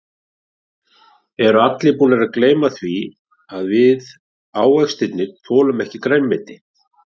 Eru allir búnir að gleyma því að við ávextirnir þolum ekki grænmeti.